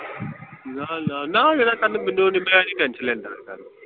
ਨਾ ਨਾ ਨਾਂਹ ਮੇਰਾ ਮੈਂ ਨੀ tension ਲੈਂਦਾ ਇਸ ਗੱਲ ਦੀ।